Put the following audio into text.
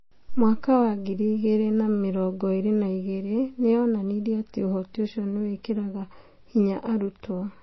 2022 nĩ yonanirie atĩ ũhoti ũcio nĩ wĩkĩraga hinya arutwo